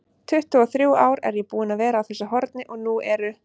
tuttugu-og-þrjú ár er ég búinn að vera á þessu horni og nú eru